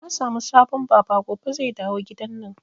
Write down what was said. Na samu sabon Baba gobe zai dawo gidanan